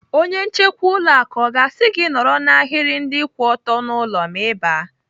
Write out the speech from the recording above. Onye nchekwa ụlọ akụ ọ ga-asị gị nọrọ n'ahiri ndị kwụ ọtọ n'ụlọ ma Ị baa?